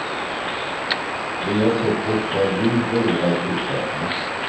Vi har sett boxare bli regelrätt utslagna.